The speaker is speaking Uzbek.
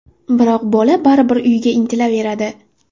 Biroq bola baribir uyiga intilaveradi.